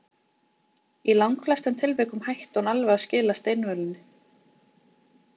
Í langflestum tilvikum hætti hún alveg að skila steinvölunni.